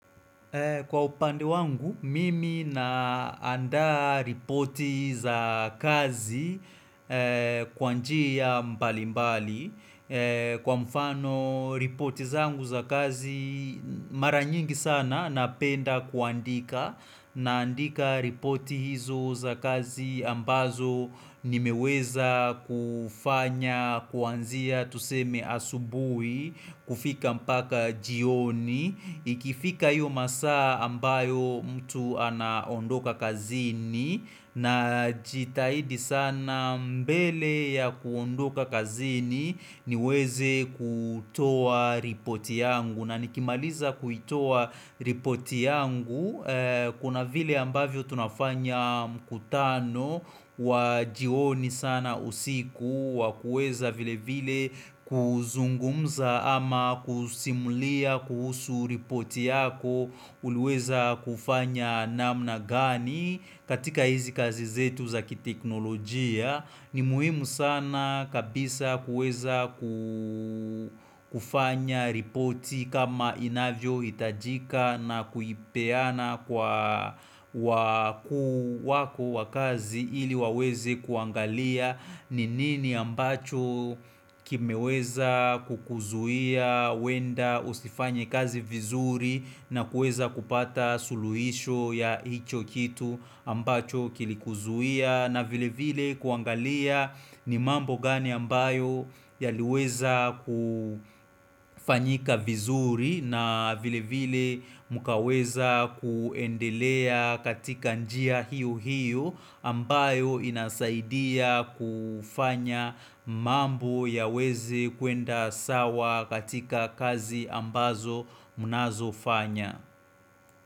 Kwa upande wangu, mimi naandaa ripoti za kazi kwa njia mbali mbali. Kwa mfano, ripoti zangu za kazi mara nyingi sana napenda kuandika. Naandika ripoti hizo za kazi ambazo nimeweza kufanya, kuanzia, tuseme asubui, kufika mpaka jioni. Ikifika hiyo masaa ambayo mtu anaondoka kazini na jitahidi sana mbele ya kuondoka kazini niweze kutoa ripoti yangu. Na nikimaliza kuitowa ripoti yangu kuna vile ambavyo tunafanya mkutano wa jioni sana usiku wa kueza vile vile kuzungumza ama kusimulia kuhusu ripoti yako huweza kufanya namna gani katika hizi kazi zetu zaki teknolojia. Ni muhimu sana kabisa kueza ku kufanya ripoti kama inavyo hitajika na kuipeana kwa wakuu wako wakazi ili wawezi kuangalia ni nini ambacho kimeweza kukuzuia wenda usifanye kazi vizuri na kueza kupata suluisho ya hicho kitu ambacho kilikuzuhia na vile vile kuangalia ni mambo gani ambayo yaliweza kufanyika vizuri na vile vile mukaweza kuendelea katika njia hiyo hiyo ambayo inasaidia kufanya mambo ya weze kuenda sawa katika kazi ambazo munazo fanya.